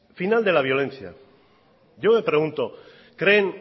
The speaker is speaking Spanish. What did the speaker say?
final de la violencia yo me pregunto creen